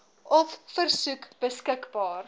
op versoek beskikbaar